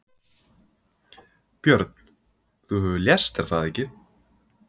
Björn: Þú hefur lést er það ekki?